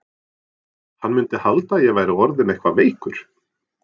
Hann mundi halda að ég væri orðinn eitthvað veikur.